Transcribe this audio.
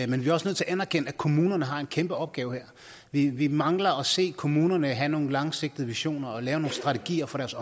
men vi er også nødt til at anerkende at kommunerne her har en kæmpe opgave vi vi mangler at se kommunerne have nogle langsigtede visioner og lave nogle strategier for deres